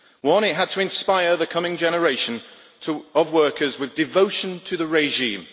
One it had to inspire the coming generation of workers with devotion to the regime.